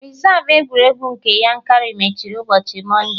Rezav egwuregwu nke Yankari mechiri ụbọchị Mọnde